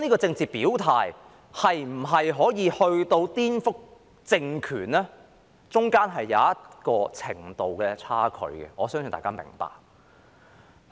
政治表態可否發展至顛覆政權，當中有一個程度上的差距，我相信大家明白。